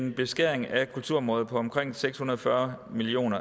en beskæring af kulturområdet på omkring seks hundrede og fyrre million